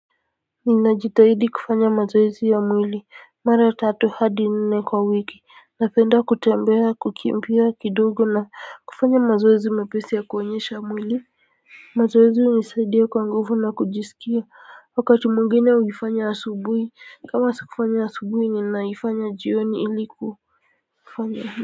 Ninajitahidi kufanya mazoezi ya mwili mara tatu hadi nne kwa wiki napenda kutembea kukimbia kidogo na kufanya mazoezi mepesi ya kuonyesha mwili mazoezi hunisaidia kwa nguvu na kujisikia wakati mwingine naifanya asubuhi kama sikufanya asubuhi ninafanya jioni ili.